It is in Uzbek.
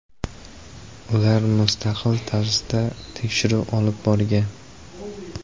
Ular mustaqil tarzda tekshiruv olib borgan.